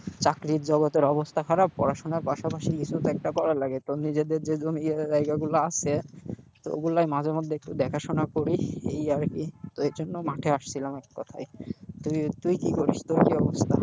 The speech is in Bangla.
চাকরির জগতের অবস্থা খারাপ পড়াশোনার পাশাপাশি কিছুতো একটা করা লাগে তো নিজেদের যে জমি জায়গাগুলো আছে তো ওগুলোই মাঝে মধ্যে একটু দেখাশোনা করি এই আরকি। তো এর জন্য মাঠে আসছিলাম এককথায়। তুই কি করিস, তোর কি অবস্থা?